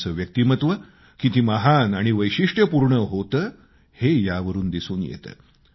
त्यांचं व्यक्तिमत्व किती महान आणि वैशिष्ट्यपूर्ण होतं हे यावरून दिसून येतं